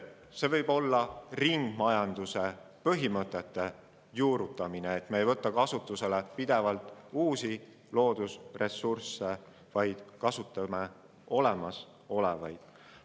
See võib ka ringmajanduse põhimõtete juurutamist, me ei võta pidevalt kasutusele uusi loodusressursse, vaid taaskasutame olemasolevaid.